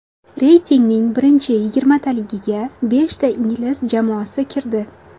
Reytingning birinchi yigirmataligiga beshta ingliz jamoasi kirdi.